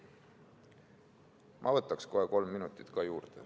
Ma võtaksin kohe kolm minutit juurde.